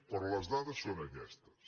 però les dades són aquestes